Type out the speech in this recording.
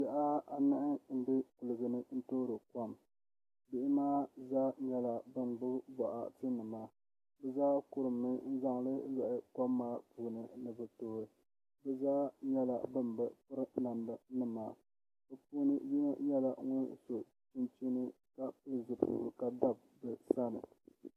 Bihi anahi n bɛ kuligi ni toori kom bihi maa zaa nyɛla bin gbubi boɣati nima bi zaa kurimmi n zaŋli loɣi kom maa puuni ni bi tooi bi zaa nyɛla bin bi piri namda nima bi puuni yino nyɛla ŋun so chinchini ka pili zipiligu ka dabi so sani